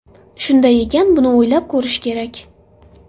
Shunday ekan buni o‘ylab ko‘rish kerak.